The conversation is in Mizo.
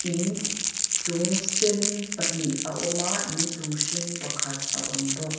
in chung sen pahnih a awm a in chung hring pakhat a awm bawk.